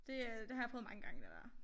Det er det har jeg prøvet mange gange det dér